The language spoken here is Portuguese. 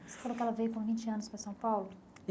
Você falou que ela veio com vintte anos para São Paulo?